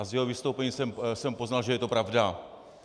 A z jeho vystoupení jsem poznal, že je to pravda.